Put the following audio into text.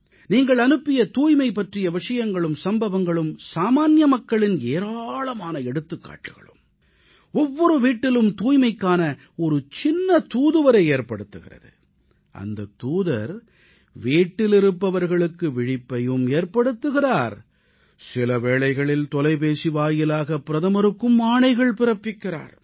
நீங்கள் அனுப்பிய தூய்மை பற்றிய விஷயங்களும் சம்பவங்களும் சாமான்ய மக்களின் ஏராளமான எடுத்துக்காட்டுக்களும் ஒவ்வொரு வீட்டிலும் தூய்மைக்கான ஒரு சிறிய தூதுவரை உருவாக்குகிறது அந்தத் தூதர் வீட்டில் இருப்பவர்களுக்கு விழிப்பையும் ஏற்படுத்துகிறார் சில வேளைகளில் தொலைபேசி வாயிலாக பிரதமருக்கும் ஆணைகள் பிறப்பிக்கிறார்